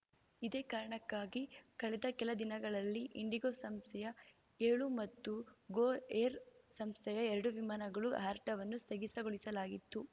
ಇದೇ ಕಾರಣಕ್ಕಾಗಿ ಕಳೆದ ಕೆಲ ದಿನಗಳಲ್ಲಿ ಇಂಡಿಗೋ ಸಂಸ್ಥೆಯ ಏಳು ಮತ್ತು ಗೋ ಏರ್‌ ಸಂಸ್ಥೆಯ ಎರಡು ವಿಮಾನಗಳ ಹಾರಾಟವನ್ನು ಸ್ಥಗಿಸಗೊಳಿಸಲಾಗಿತ್ತು